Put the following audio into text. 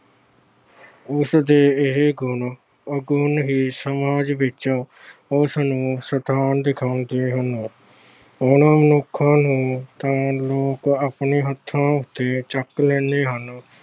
ਉਸਦੇ ਇਹ ਗੁਣ ਔਗੁਣ ਹੀ ਉਸਨੂੰ ਸਮਾਜ ਵਿੱਚ ਉਸਨੂੰ ਸਥਾਨ ਦਿਖਾਉਂਦੇ ਹਨ। ਉਹਨਾਂ ਮਨੁੱਖਾਂ ਨੂੰ ਤਾਂ ਲੋਕ ਆਪਣੇ ਹੱਥਾਂ ਉਤੇ ਚੁੱਕ ਲੈਂਦੇ ਹਨ।